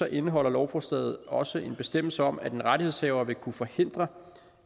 indeholder lovforslaget også en bestemmelse om at en rettighedshaver vil kunne forhindre